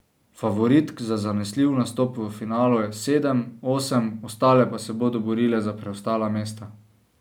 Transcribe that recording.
Favoritk za zanesljiv nastop v finalu je sedem, osem, ostale pa se bodo borile za preostala mesta.